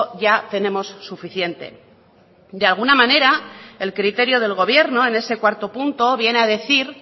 ya tenemos suficiente de alguna manera el criterio del gobierno en ese cuarto punto viene a decir